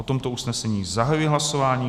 O tomto usnesení zahajuji hlasování.